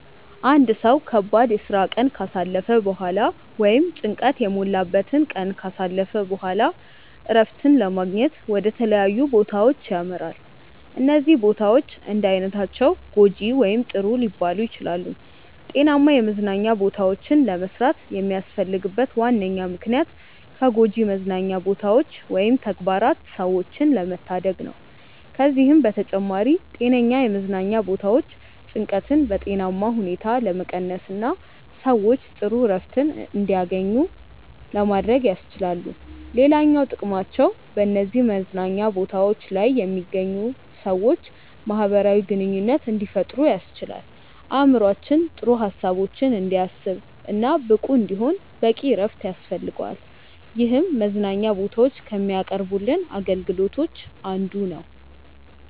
አንድ ሰው ከባድ የስራ ቀን ካሳለፈ በኋላ ወይም ጭንቀት የሞላበትን ቀን ካሳለፈ በኋላ እረፍትን ለማግኘት ወደ ተለያዩ ቦታዎች ያመራል። እነዚህ ቦታዎች እንዳይነታቸው ጐጂ ወይም ጥሩ ሊባሉ ይችላሉ። ጤናማ የመዝናኛ ቦታዎችን ለመስራት የሚያስፈልግበት ዋነኛ ምክንያት ከጎጂ መዝናኛ ቦታዎች ወይም ተግባራት ሰዎችን ለመታደግ ነው። ከዚህም በተጨማሪ ጤነኛ የመዝናኛ ቦታዎች ጭንቀትን በጤናማ ሁኔታ ለመቀነስና ሰዎች ጥሩ እረፍት እንዲያገኙ ለማድረግ ያስችላሉ። ሌላኛው ጥቅማቸው በነዚህ መዝናኛ ቦታዎች ላይ የሚገኙ ሰዎች ማህበራዊ ግንኙነት እንዲፈጥሩ ያስችላል። አእምሮአችን ጥሩ ሀሳቦችን እንዲያስብ እና ብቁ እንዲሆን በቂ እረፍት ያስፈልገዋል ይህም መዝናኛ ቦታዎች ከሚያቀርቡልን አገልግሎቶች አንዱ ነው።